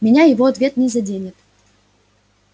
меня его ответ не заденет